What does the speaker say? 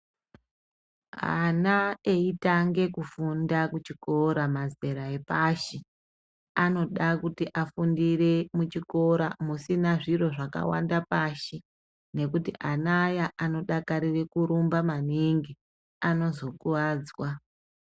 Ana eitange kufunda kuchikora mazera epashi anoda kuti afundire muchikora chisina zviro zvakawanda pasi ngekuti ana aya anodakarire kurumba maningi anozokuwadzwa.